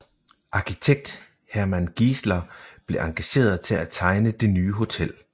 Arkitekt Hermann Giesler blev engageret til at tegne det nye hotel